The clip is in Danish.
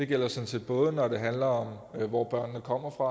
gælder sådan set både når det handler om hvor børnene kommer fra